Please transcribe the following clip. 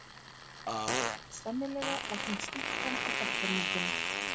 Sennilega var hún stúlkan á bekkjarmyndinni.